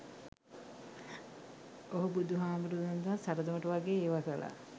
ඔහු බුදුහාමුදුරුවන්ටත් සරදමට වගේ ඒවා කළා.